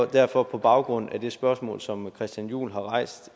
derfor på baggrund af det spørgsmål som herre christian juhl har rejst